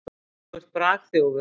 Þú ert bragþjófur.